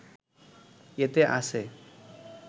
এতে আছে